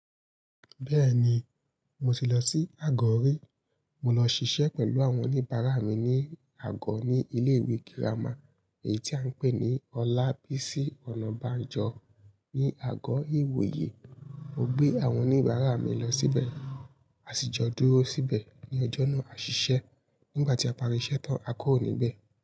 Bẹ́ẹ̀ni, mo ti lọ sí Àgọ́ rí. Mo lọ ṣiṣẹ́ pẹ̀lú àwọn oníbàárà mi ní Àgọ́ ní ilé ìwé girama èyí tí à ń pè ní Olabisi Onabanjo ni Àgọ́ ìwòye. Mo gbé àwọn oníbàárà mi lọ síbẹ̀, a sì jọ dúró síbẹ̀ ní ọjọ́ náà a ṣiṣẹ́. Nígbà tí a parí iṣẹ́ tán, a kúrò níbẹ̀